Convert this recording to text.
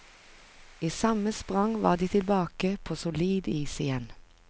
I samme sprang var de tilbake på solid is igjen.